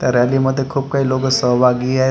त्या रॅली मध्ये खूप काही लोकं सहभागी आहेत .